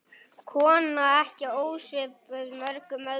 Kona ekki ósvipuð mörgum öðrum.